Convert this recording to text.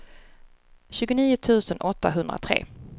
tjugonio tusen åttahundratre